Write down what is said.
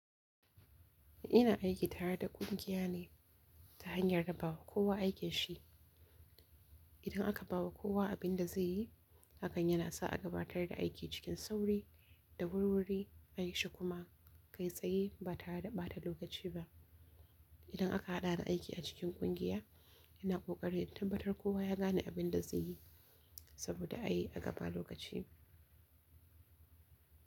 Ina aiki tare da kungiya ne ta hanyar raba kowa aikin shi. Idan aka bawa kowa abinda zaiyi hakan yanasa a gabatar da aiki cikin sauri da wurwuri ayishi kuma kai tsaye ba tare da bata lokaci ba idan aka haɗa aiki a cikin kungiya, yana ƙoƙari tambatar kowa ya gane abin da zai yi saboda a yi a gaba lokaci.